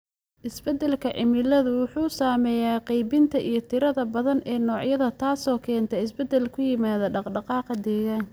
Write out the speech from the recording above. Isbeddelka cimiladu wuxuu saameeyaa qaybinta iyo tirada badan ee noocyada, taasoo keenta isbeddel ku yimaada dhaqdhaqaaqa deegaanka.